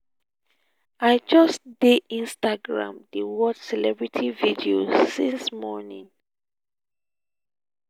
i just dey instagram dey watch celebrity videos since morning